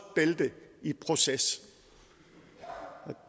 bælte i proces